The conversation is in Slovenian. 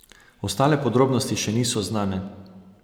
Ostale podrobnosti še niso znane.